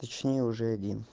точнее уже один